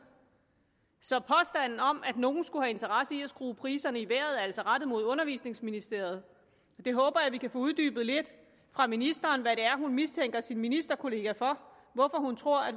så påstanden om at nogen skulle have interesse i at skrue priserne i vejret er altså rettet mod undervisningsministeriet jeg håber vi kan få uddybet lidt fra ministerens side hvad det er hun mistænker sin ministerkollega for hvorfor hun tror at